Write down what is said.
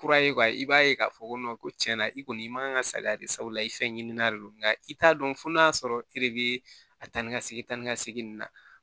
Kura ye i b'a ye k'a fɔ ko ko cɛn na i kɔni i man ka saliya de sabula i fɛn ɲinini de don nka i t'a dɔn fo n'a sɔrɔ e de be a tan ni ka segin ta ni ka segin na